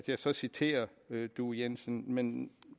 jeg så citerer due jensen men